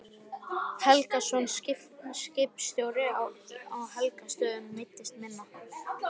Helgason, skipstjóri á Helgustöðum, meiddist minna.